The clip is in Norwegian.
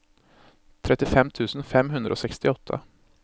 trettifem tusen fem hundre og sekstiåtte